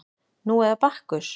Nú eða Bakkus